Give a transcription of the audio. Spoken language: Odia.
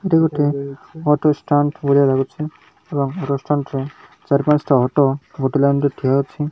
ଏଠି ଗୋଟେ ଅଟୋ ଷ୍ଟାଣ୍ଡ ଭଳିଆ ଲାଗୁଛି ଏବଂ ଅଟୋ ଷ୍ଟାଣ୍ଡ ରେ ଚାରି ପାଞ୍ଚଟା ଅଟୋ ଗୋଟେ ଲାଇନ ରେ ଠିଆ ହୋଇଛି।